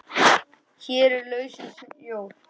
Hér er lausnin sjór.